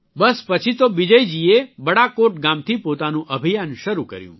બસ પછી તો બિજયજીએ બડાકૌટ ગામથી પોતાનું અભિયાન શરૂ કર્યું